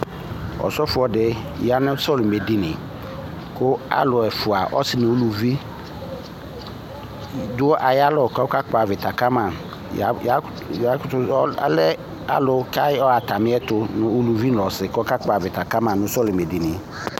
Osɔfo di ya nu sɔlimɛ dinyi ku alu ɛfua ɔsi nu uluvi du ayalɔ ku ɔka kpɔ avita kama ayɔ alu kalɛ ku atamiɛtu kakakpɔ avita kama nu sɔlimɛ dinyi